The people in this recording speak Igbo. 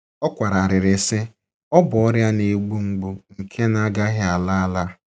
Ọ kwara arịrị, sị, “ Ọ bụ ọrịa na - egbu mgbu nke na - agaghị ala ala. ”